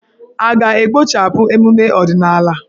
A ga-ekpochapụ emume ọdịnala?